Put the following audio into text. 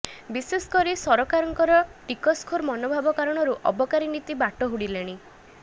ବିଶେଷକରି ସରକାରଙ୍କର ଟିକସଖୋର ମନୋଭାବ କାରଣରୁ ଅବକାରୀ ନୀତି ବାଟ ହୁଡିଲାଣି